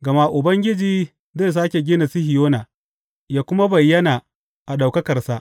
Gama Ubangiji zai sāke gina Sihiyona ya kuma bayyana a ɗaukakarsa.